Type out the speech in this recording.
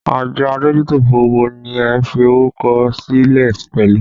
Àjọ adójútòfò wo ni ẹ fi orúkọ sílẹ̀ pẹ̀lú?